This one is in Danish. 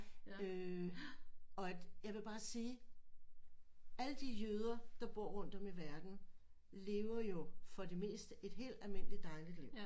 Øh og at jeg vil bare sige alle de jøder der bor rundt om i verden lever jo for det meste et helt almindeligt dejligt liv